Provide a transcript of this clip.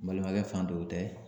N balimakɛ fan dɔw tɛ